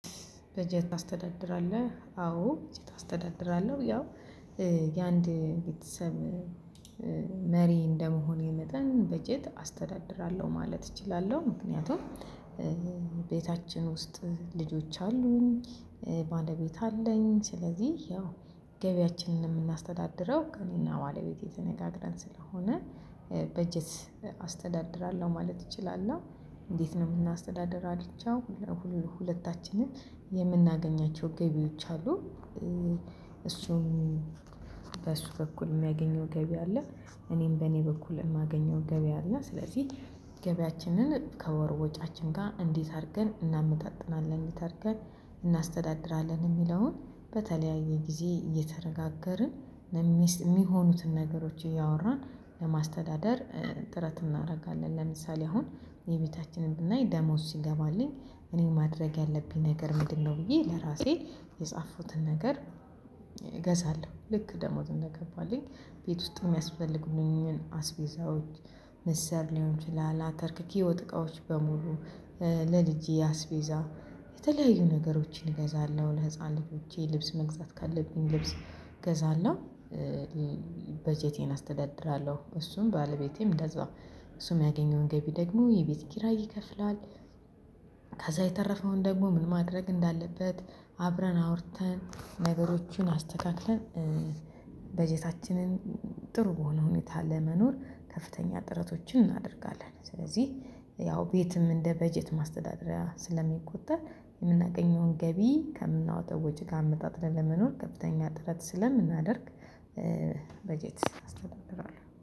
በጀት ታስተዳድራለህ? አዎ በጀት አስተዳድራለሁ ያው የአንድ ቤተሰብ መሪ እንደመሆኔ መጠን በጀት አስተዳድራለሁ ማለት እችላለሁ። ምክንያቱም ቤታችን ውስጥ ልጆች አሉኝ ባለቤት አለኝ። ስለዚህ ያው ገበያችንን የምናስተዳድረው ከእኔና ባለቤቴ ተነጋግረን ስለሆነ በጀት አስተዳድራለሁ ማለት እችላለሁ። እና እንዴት ነው የምናስተዳድራቸው? ሁለታችንም የምናገኛቸው ገቢዎች አሉ። እሱም በሱ በኩል የሚያገኘው ገቢ አለ። እኔም በእኔ በኩል የማገኘው ገቢ አለ። ስለዚህ ገቢያችንን ከወር ወጪያችን ጋር እንዴት አድርገን እናመጣጥናለን እንዴት አድርገን እናስተዳድራለን? የሚለውን በተለያዩ ጊዜ እየተነጋገርን የሚሆኑትን ነገሮች እያወራን ለማስተዳደር ጥረት እናደርጋለን። ለምሳሌ አሁን የቤታችንን ብናይ ደሞዝ ሲገባልኝ እኔ ማድረግ ያለብኝ ነገር ምንድነው ብዬ ለራሴ የጻፉኩትን ነገር እገዛለሁ። ልክ ደሞዝ እንደገባልኝ ቤት ውስጥ የሚያስፈልጉኝን አስቤዛዎች ምስር ሊሆን ይችላል አተርክክ የወጥ እቃዎች በሙሉ ለልጄ አስቤዛ የተለያዩ ነገሮችን እገዛለሁ። ለህፃን ልጆቼ ልብስ መግዛት ካለብኝ ልብስ ገዛለሁ። በጀቴን አስተዳድራለሁ እሱም ባለቤቴም እንደዛው እሱም ያገኘውን ገቢ ደግሞ የቤት ኪራይ ይከፍላል። ከዛ የተረፈውን ደግሞ ምን ማድረግ እንዳለበት አብረን አውርተን ነገሮቹን አስተካክለን በጀታችንን ጥሩ በሆነ ሁኔታ ለመኖር ከፍተኛ ጥረቶችን እናደርጋለን። ስለዚህ ያው ቤትም እንደ በጀት ማስተዳደሪያ ስለሚቆጠር የምናገኘውን ገቢ ከምናወጣው ወጪ ጋር አመጣጥነን ለመኖር ከፍተኛ ጥረት ስለምናደርግ በጀት አስተዳድራለሁ